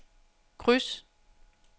kryds